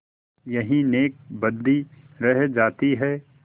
यही नेकबदी रह जाती है